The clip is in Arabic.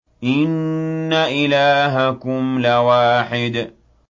إِنَّ إِلَٰهَكُمْ لَوَاحِدٌ